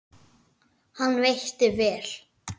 Hann veitti vel